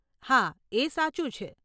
હા, એ સાચું છે.